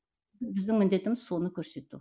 біздің міндетіміз соны көрсету